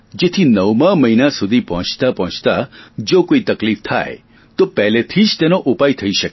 જેથી નવમા મહિના સુધી પહોંચતા પહોંચતા જો કોઇ તકલીફ થાય તો પહેલેથી જ તેનો ઉપાય થઈ શકે